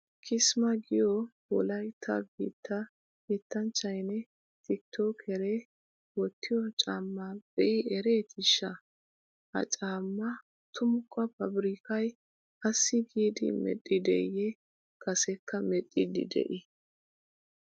Kismaa giyo wolaytta biittaa yettanchchaynne tikitookkeree wottiyo caammaa be'i ereetiishsha! Ha caammaa tumukka paabirkkay assi giidi medhdhideeyyee kasekka medhdhiiddi de'ii?